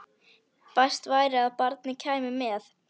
Best væri að barnið kæmi með.